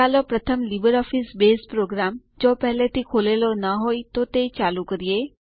ચાલો પ્રથમ LibreOffice Base program જો પેહલે થી ખુલેલો ન હોય તો તે ચાલુ કરીએ